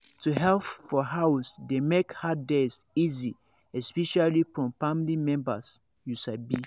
to help for house dey make hard days easy especially from family members you sabi